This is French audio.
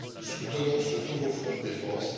Soutenons ce nouveau fonds de défense.